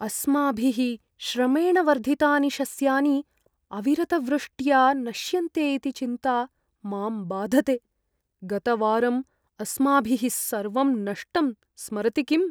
अस्माभिः श्रमेण वर्धितानि शस्यानि अविरतवृष्ट्या नश्यन्ते इति चिन्ता माम् बाधते। गतवारं अस्माभिः सर्वं नष्टं स्मरति किम्?